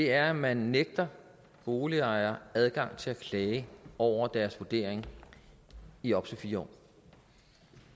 er at man nægter boligejere adgang til at klage over deres vurdering i op til fire